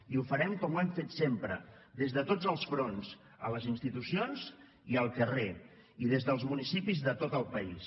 i ho farem com ho hem fet sempre des de tots els fronts a les institucions i al carrer i des dels municipis de tot el país